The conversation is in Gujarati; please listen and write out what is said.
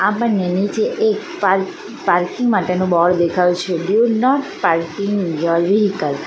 આપણને નીચે એક પાર્ પાર્કિંગ માટેનું બોર્ડ દેખાય છે do not parking your vehicle .